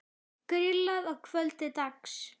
Grillað að kvöldi dags.